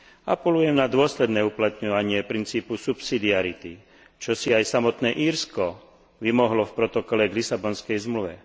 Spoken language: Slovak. Apelujem na dôsledné uplatňovanie princípu subsidiarity, čo si aj samotné Írsko vymohlo v protokole k Lisabonskej zmluve.